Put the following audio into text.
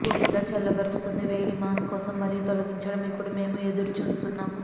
పూర్తిగా చల్లబరుస్తుంది వేడి మాస్ కోసం మరియు తొలగించడం ఇప్పుడు మేము ఎదురు చూస్తున్నాము